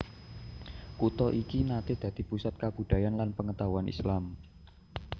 Kutha iki naté dadi pusat kabudhayan lan pangetahuan Islam